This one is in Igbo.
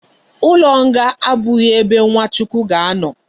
Ulo nga abughi ebe nwa chukwu ga ano